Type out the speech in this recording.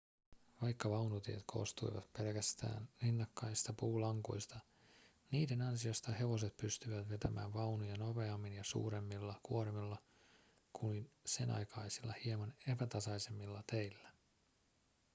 vaikka vaunutiet koostuivat pelkästään rinnakkaisista puulankuista niiden ansiosta hevoset pystyivät vetämään vaunuja nopeammin ja suuremmilla kuormilla kuin senaikaisilla hieman epätasaisemmilla teillä